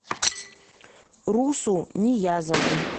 русу ниязову